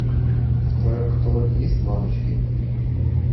в твоем каталоге есть мамочки